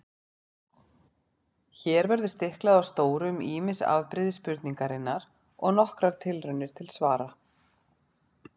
Hér verður stiklað á stóru um ýmis afbrigði spurningarinnar og nokkrar tilraunir til svara.